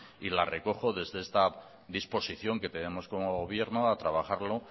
y las recojo desde esta disposición que tenemos como gobierno a trabajarlo